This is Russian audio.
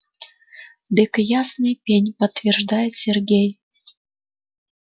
дык ясный пень подтверждает сергей